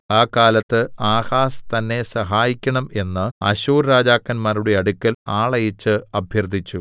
ആ കാലത്ത് ആഹാസ്‌ തന്നെ സഹായിക്കണം എന്ന് അശ്ശൂർ രാജാക്കന്മാരുടെ അടുക്കൽ ആളയച്ച് അഭ്യർത്ഥിച്ചു